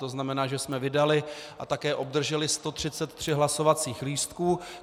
To znamená, že jsme vydali a také obdrželi 133 hlasovacích lístků.